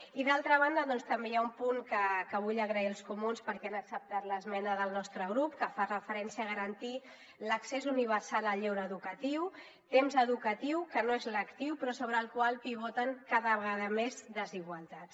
i d’altra banda també hi ha un punt que vull agrair als comuns perquè han acceptat l’esmena del nostre grup que fa referència a garantir l’accés universal al lleure educatiu temps educatiu que no és lectiu però sobre el qual pivoten cada vegada més desigualtats